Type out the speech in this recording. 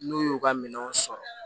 N'u y'u ka minɛnw sɔrɔ